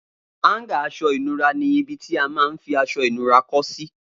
Háńgà aṣọ ìnura ni ibi tí a man fi aṣọ ìnura kọ́ sí